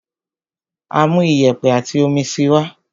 Á máa mú iyẹ̀pẹ̀ àti omi síi wá.